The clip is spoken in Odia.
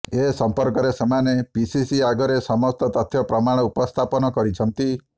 ଏ ସମ୍ପର୍କରେ ସେମାନେ ପିସିସି ଆଗରେ ସମସ୍ତ ତଥ୍ୟ ପ୍ରମାଣ ଉପସ୍ଥାପନ କରିଛନ୍ତି